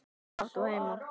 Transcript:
Hvar átt þú heima?